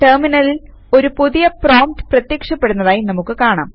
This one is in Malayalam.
ടെർമിനലിൽ ഒരു പുതിയ പ്രോംപ്റ്റ് പ്രത്യക്ഷപ്പെടുന്നതായി നമുക്ക് കാണാം